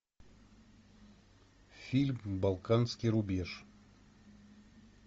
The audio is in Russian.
фильм балканский рубеж